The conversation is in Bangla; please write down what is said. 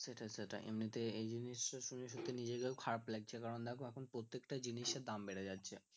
সেটাই সেটাই এমনিতে এই জিনিস টা শুনে সত্যি নিজেকেই খারাপ লাগছে এবার দেখ এখন প্রত্যেকটা জিনিসের দাম বেড়ে যাচ্ছে